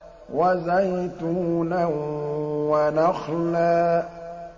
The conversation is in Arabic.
وَزَيْتُونًا وَنَخْلًا